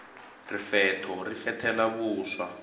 rifetho ri fethela vuswa